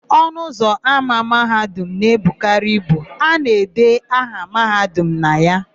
Ọnụụzọ ámá Mahadum na-ebukarị ibu; a na-ede aha Mahadum na ya.